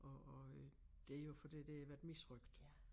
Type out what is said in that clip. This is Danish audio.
Og og øh det jo fordi det har været misrøgt